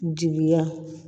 Jigiya